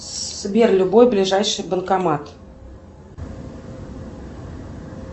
сбер любой ближайший банкомат